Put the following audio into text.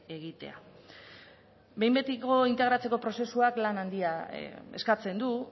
egitea behin betiko integratzeko prozesuak lan handia eskatzen du